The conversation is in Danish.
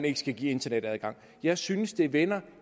ikke skal gives internetadgang jeg synes det vender